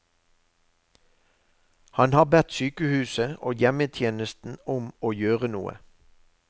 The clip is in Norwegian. Han har bedt sykehuset og hjemmetjenesten om å gjøre noe.